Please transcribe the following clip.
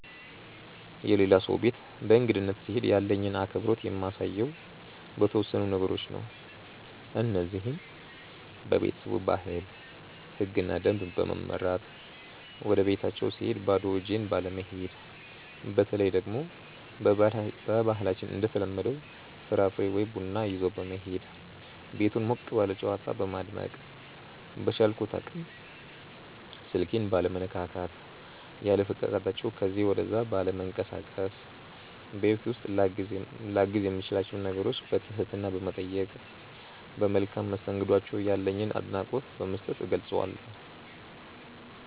የሌላ ሰው ቤት በእንግድነት ስሄድ ያለኝን አክብሮት የማሳየው በተወሰኑ ነገሮች ነው። እነዚህም:- በቤተሰቡ ባህል፣ ህግና ደንብ በመመራት፣ ወደቤታቸው ስሄድ ባዶ እጄን ባለመሄድ፣ በተለይ ደግሞ በባህላችን እንደተለመደው ፍራፍሬ ወይ ቡና ይዞ በመሄድ፣ ቤቱን ሞቅ ባለ ጨዋታ በማድመቅ፣ በቻልኩት አቅም ስልኬን ባለመነካካት፣ ያለፈቃዳቸው ከዚ ወደዛ ባለመንቀሳቀስ፣ ቤት ውስጥ ላግዝ የምችላቸውን ነገሮች በትህትና በመጠየቅ፣ ለመልካም መስተንግዷቸው ያለኝን አድናቆት በመስጠት እገልፀዋለሁ።